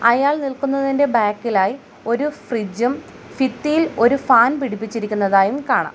അയാൾ നിൽക്കുന്നതിൻ്റെ ബാക്കിലായി ഒരു ഫ്രിഡ്ജ് ഉം ഫിത്തിയിൽ ഒരു ഫാൻ പിടിപ്പിച്ചിരിക്കുന്നതായും കാണാം.